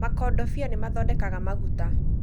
Makodobia nĩ mathondekaga maguta